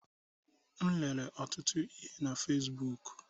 M rere ọtụtụ ihe na Facibụkụ